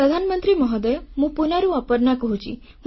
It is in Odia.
ପ୍ରଧାନମନ୍ତ୍ରୀ ମହୋଦୟ ମୁଁ ପୁଣେରୁ ଅପର୍ଣ୍ଣା କହୁଛି